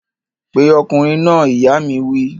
Pe ọkùnrin náà! ìyá mi wí